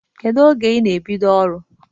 Kedụ oge ị na-ebido ọrụ?